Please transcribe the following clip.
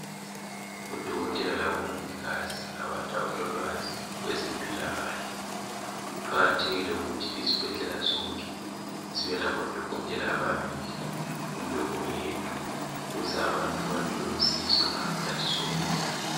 Odokotela labomongikazi ngabantu abalolwazi kwezempilakahle. Kuqakathekile ukuthi izibhedlela zonke zibe labodokotela ababili kumbe oyedwa ukuze abantu bathole usizo ngasikhathi sonke